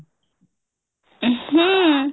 ହୁଁ